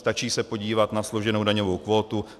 Stačí se podívat na složenou daňovou kvótu.